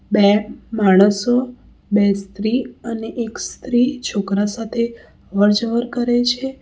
બે માણસો બે સ્ત્રી અને એક સ્ત્રી છોકરા સાથે અવર જવર કરે છે.